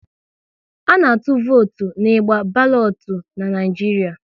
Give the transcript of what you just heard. A na-atụ votu n'igba balotu n'Naijiria